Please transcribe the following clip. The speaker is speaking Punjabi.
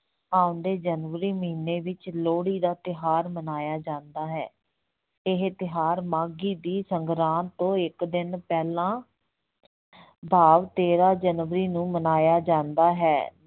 ਆਉਂਦੇ ਜਨਵਰੀ ਮਹੀਨੇ ਵਿੱਚ ਲੋਹੜੀ ਦਾ ਤਿਉਹਾਰ ਮਨਾਇਆ ਜਾਂਦਾ ਹੈ, ਇਹ ਤਿਉਹਾਰ ਮਾਘੀ ਦੀ ਸੰਗਰਾਂਦ ਤੋਂ ਇੱਕ ਦਿਨ ਪਹਿਲਾਂ ਭਾਵ ਤੇਰਾਂ ਜਨਵਰੀ ਨੂੰ ਮਨਾਇਆ ਜਾਂਦਾ ਹੈ।